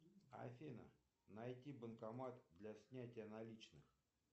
афина найти банкомат для снятия наличных